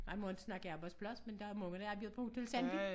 Man på inte snakke arbejdsplads men der er mange der har arbejdet på Hotel Sandvig